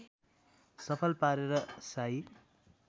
सफल पारेर शाही